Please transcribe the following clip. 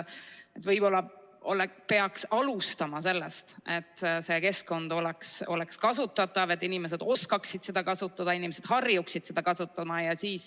Võib-olla peaks alustama sellest, et see keskkond oleks kasutatav, et inimesed oskaksid seda kasutada, inimesed harjuksid seda kasutama.